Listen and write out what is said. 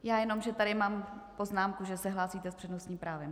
Já jenom, že tady mám poznámku, že se hlásíte s přednostním právem.